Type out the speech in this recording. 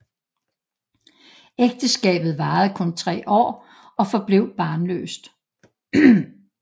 Ægteskabet varede kun tre år og forblev barnløst